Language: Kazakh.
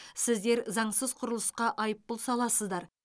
сіздер заңсыз құрылысқа айыппұл саласыздар